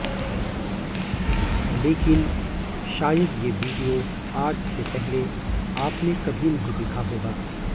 लेकिन शायद ये वीडियो आज से पहले आपने कभी नहीं देखा होगा